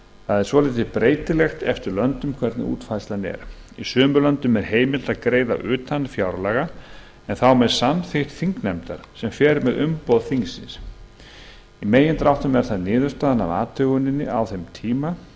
það er svolítið breytilegt eftir löndum hvernig útfærslan er í sumum löndum er heimilt að greiða utan fjárlaga en þá með samþykkt þingnefndar sem fer með umboð þingsins í megindráttum er það niðurstaðan af athuguninni á þeim tíma